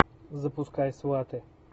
запускай сваты